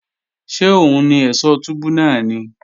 Ṣé òun ni ẹ̀ṣọ̀ túbú náà ni?